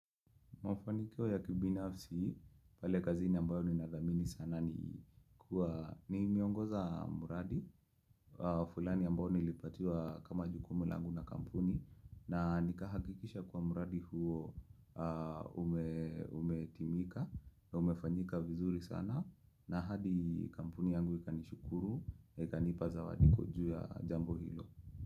Mofanikyo ya kibinafsi, pale kazini ambayo ni nagamini sana ni kuwa ni miongoza muradi fulani ambayo nilipatua kama jukumulangu na kampuni na nikahakikisha kwa miradi huo umetimika, umefanyika vizuri sana na hadi kampuni yangu ikanishukuru, ikanipaza wadiko juu ya jambo hilo.